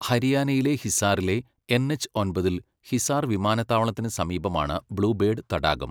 ഹരിയാനയിലെ ഹിസാറിലെ, N. H ഒമ്പതിൽ ഹിസാർ വിമാനത്താവളത്തിന് സമീപമാണ്, ബ്ലൂ ബേർഡ് തടാകം.